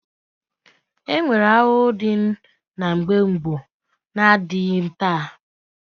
E nwere ahụhụ ndị nọ mgbe gboo na-adịghịzị taa